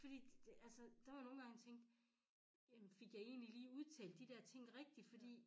Fordi det altså der var nogen gange jeg tænkte jamen fik jeg egentlig lige udtalt de dér ting rigtigt fordi